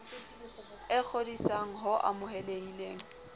e kgodisan g ho amohelehileng